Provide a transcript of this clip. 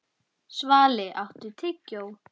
Svali, áttu tyggjó?